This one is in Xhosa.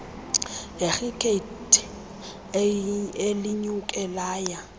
lekhrikethi elinyuke laya